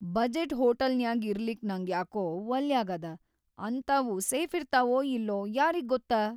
Budget ಹೋಟೆಲ್‌ನ್ಯಾಗ್ ಇರ್ಲಿಕ್ ನಂಗ್ಯಾಕೊ ವಲ್ಲ್ಯಾಗಾದ, ಅಂತಾವು ಸೇಫಿರ್ತಾವೊ ಇಲ್ಲೊ ಯಾರಿಗ್ಗೊತ್ತ.